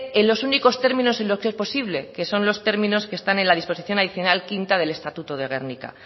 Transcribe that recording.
en los únicos términos en que es posible que son los términos que están en la disposición adicional quinta del estatuto de gernika